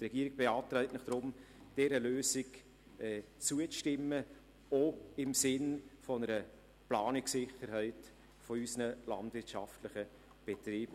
Die Regierung beantragt Ihnen deshalb, dieser Lösung zuzustimmen, auch im Sinne einer Planungssicherheit für unsere landwirtschaftlichen Betriebe.